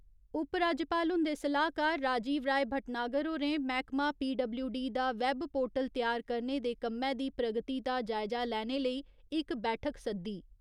उप राज्यपाल हुन्दे सलाह्कार राजीव राय भट्टनागर होरें मैह्कमा पीडब्ल्यूडी दा वैब पोर्टल त्यार करने दे कम्मै दी प्रगति दा जायजा लैने लेई इक बैठक सद्दी।